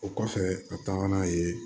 O kɔfɛ a taa n'a ye